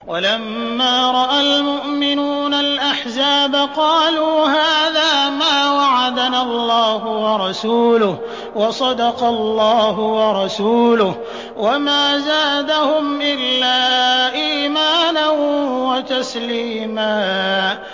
وَلَمَّا رَأَى الْمُؤْمِنُونَ الْأَحْزَابَ قَالُوا هَٰذَا مَا وَعَدَنَا اللَّهُ وَرَسُولُهُ وَصَدَقَ اللَّهُ وَرَسُولُهُ ۚ وَمَا زَادَهُمْ إِلَّا إِيمَانًا وَتَسْلِيمًا